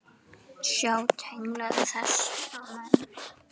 Sjá tengla við þessa menn.